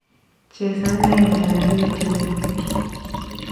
Chesan laindab youtubit kityo